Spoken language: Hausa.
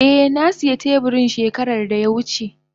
Eh na siya teburin shekara da ya wuce.